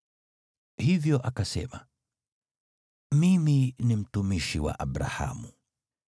Hivyo akasema, “Mimi ni mtumishi wa Abrahamu.